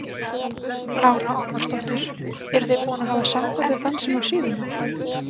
Lára Ómarsdóttir: Eruð þið búin að hafa samband við þann sem á síðuna?